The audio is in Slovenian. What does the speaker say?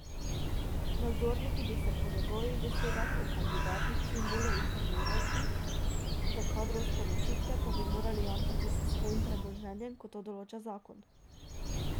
Nadzorniki bi se po njegovih besedah o kandidatih čim bolje informirati, za kadrovske odločitve pa bi morali jamčiti s svojim premoženjem, kot to določa zakon.